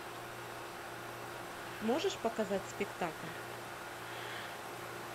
можешь показать спектакль